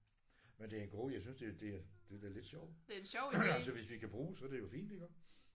Men det er en god jeg synes det det det er da lidt sjovt. Altså hvis vi kan bruges så er det jo fint iggå